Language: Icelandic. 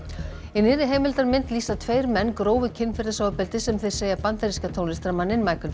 í nýrri heimildarmynd lýsa tveir menn grófu kynferðisofbeldi sem þeir segja bandaríska tónlistarmanninn